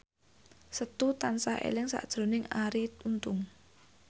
Setu tansah eling sakjroning Arie Untung